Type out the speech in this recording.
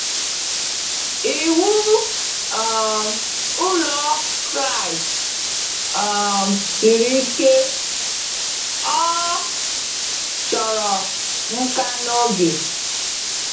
Ịwụ um ụlọ Kraịst um siri ike, ọ chọrọ nka na oge.